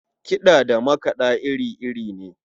Kiɗa da makaɗa iri-iri ne.